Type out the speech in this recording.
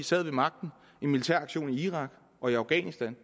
sad ved magten en militæraktion i irak og i afghanistan